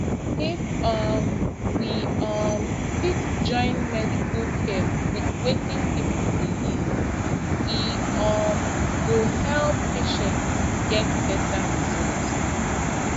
if um we um fit join medical care with wetin people believe e um go help patients get better result